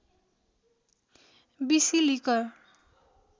बिसि लिकर